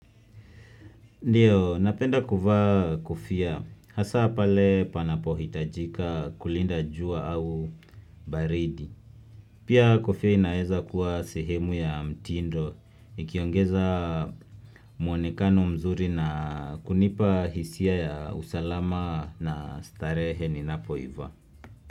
Ndiyo, napenda kuvaa kofia. Hasa pale panapo hitajika kulinda jua au baridi. Pia kufoa inaeza kuwa sehemu ya mtindo. Ikiongeza muonekano mzuri na kunipa hisia ya usalama na starehe ni napo iva.